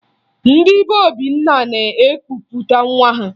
Ndị be Obinna na-ekupụta nwa ha